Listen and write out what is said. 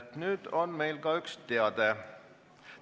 Mul on ka üle anda üks teade.